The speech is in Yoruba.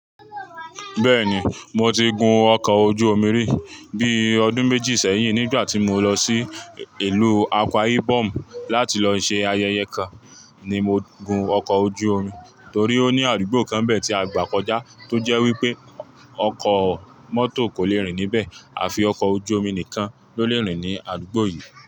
Bẹ́ẹ̀ni, mo ti gun ọkọ̀ ojú omi rí. Bí ọdún méjì sẹ́yìn nígbà tí mo lọ sí ìlú Akwa Ibom láti lọ ṣe ayẹyẹ kan ni mo gun ọkọ̀ ojú omi torí ó ní àdúgbò kan bẹ̀ tí a gbà kọjá tó jẹ́ wípé ọkọ̀ mọ́tò kò le rìn níbẹ̀ àfi ọkọ̀ ojú omi nìkan ló lè rìn ní àdúgbò yìí.